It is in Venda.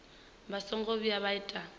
vha songo vhuya vha ita